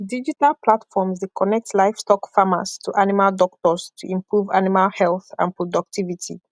digital platforms dey connect livestock farmers to animal doctors to improve animal health and productivity